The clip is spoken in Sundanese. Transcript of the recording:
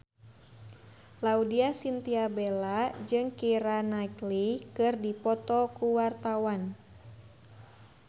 Laudya Chintya Bella jeung Keira Knightley keur dipoto ku wartawan